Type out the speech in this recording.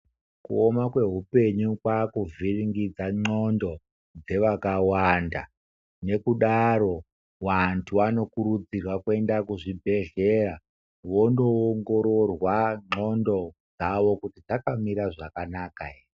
Kuoma kwe hupenyu kwaakuvhiringidza nxondo dzewakawanda nekudaro vantu vanokurudzirwa kuenda kuzvibhedhlera wondoongororwa nxondo dzavo kuti dzakamira zvakanaka here.